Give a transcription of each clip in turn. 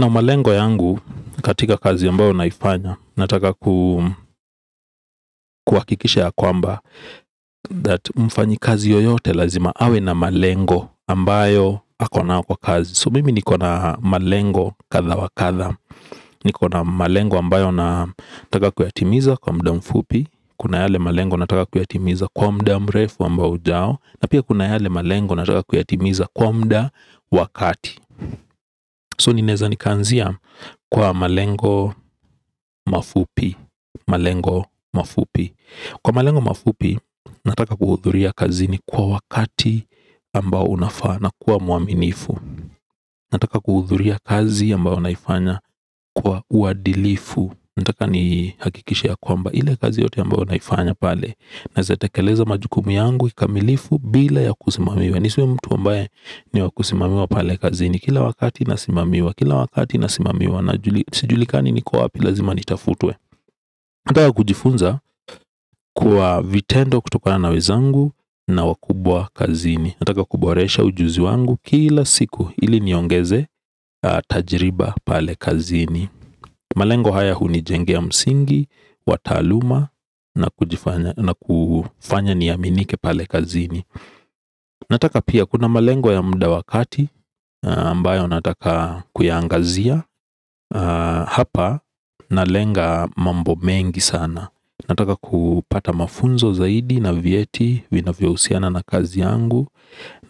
Na malengo yangu katika kazi ambayo naifanya, nataka kuhakikisha ya kwamba That mfanyi kazi yoyote lazima, awe na malengo ambayo akonayo kwa kazi So mimi ni kona malengo katha wakatha ni kona malengo ambayo na taka kuyatimiza kwa mda mfupi Kuna yale malengo na taka kuyatimiza kwa mda mrefu ambao ujao na pia kuna yale malengo na taka kuyatimiza kwa mda wakati So ninaeza ni ka anzia kwa malengo mafupi Kwa malengo mafupi, na taka kuhuthuria kazini kwa wakati ambao unafaa na kuwa mwaminifu na taka kuhuthuria kazi ambayo naifanya kwa uadilifu na taka ni hakikishe ya kwamba ile kazi yote ambayo naifanya pale Naeza tekeleza majukumu yangu kikamilifu bila ya kusimamiwa ni siwe mtu ambaye ni wa kusimamiwa pale kazini Kila wakati na simamiwa, kila wakati na simamiwa na juli sijulikani niko wapi lazima ni tafutwe ukitaka kujifunza kwa vitendo kutokana wezangu na wakubwa kazini Nataka kuboresha ujuzi wangu kila siku ili niongezee tajirba pale kazini malengo haya huni jengea msingi, wataaluma na kujifanya na kufanya niaminike pale kazini na taka pia kuna malengo ya muda wa kati ambayo na taka kuyaangazia Hapa na lenga mambo mengi sana na taka kupata mafunzo zaidi na vyeti vinavyo husiana na kazi yangu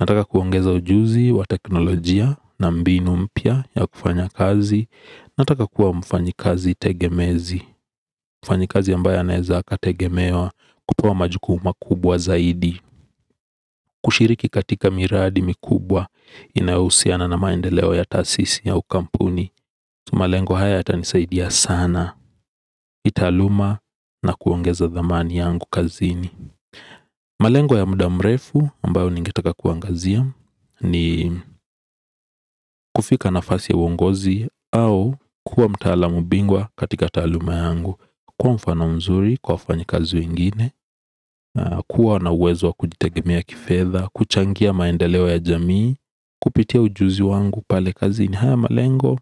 na taka kuongeza ujuzi wa teknologia na mbinu mpia ya kufanya kazi na taka kuwa mfanyi kazi tegemezi Mufanyi kazi ambayo anaeza akategemewa kupewa majukumu ma kubwa zaidi kushiriki katika miradi mikubwa inahusiana na maendeleo ya taasisi au kampuni malengo haya yatanisaidia sana, hii taaluma na kuongeza dhamani yangu kazini malengo ya muda mrefu ambayo ningetaka kuangazia ni kufika nafasi ya uongozi au kuwa mtaalamu bingwa katika taaluma yangu kwa mfano mzuri kwa wafanyi kazi wengine kuwa na uwezo wa kujitegemea kifedha, kuchangia maendeleo ya jamii Kupitia ujuzi wangu pale kazi ni haya malengo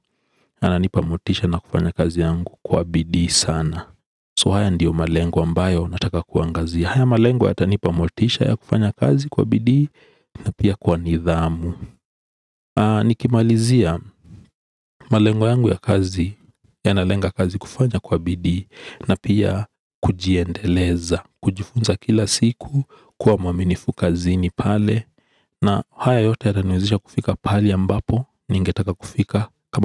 yana nipa motisha na kufanya kazi yangu kwa bidii sana So haya ndiyo malengo ambayo na taka kuangazia haya malengo yatana nipa motisha ya kufanya kazi kwa bidii na pia kwa nidhamu Niki malizia, malengo yangu ya kazi yanalenga kazi kufanya kwa bidii na kujiendeleza kujifunza kila siku kuwa mwaminifu kazini pale na haya yote yataniwezesha kufika pahali ambapo ningetaka kufika kama.